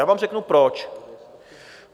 Já vám řeknu proč.